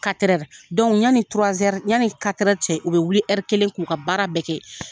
yanni yanni cɛ u bɛ wuli kelen k'u ka baara bɛɛ kɛ